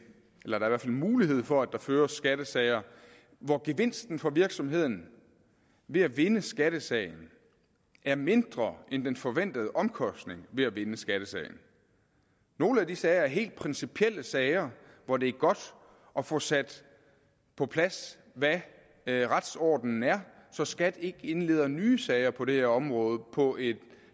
mulighed for at der føres skattesager hvor gevinsten for virksomheden ved at vinde skattesagen er mindre end den forventede omkostning ved at vinde skattesagen nogle af de sager er helt principielle sager hvor det er godt at få sat på plads hvad retsordenen er så skat ikke indleder nye sager på det her område på et